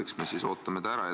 Eks me siis ootame ära.